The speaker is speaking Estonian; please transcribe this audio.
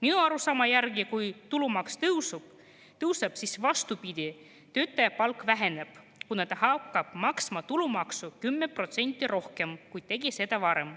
Minu arusaama järgi on nii, et kui tulumaks tõusu tõuseb, siis vastupidi, töötaja palk väheneb, kuna ta hakkab maksma tulumaksu 10% rohkem, kui tegi seda varem.